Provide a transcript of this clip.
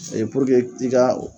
O ye i ka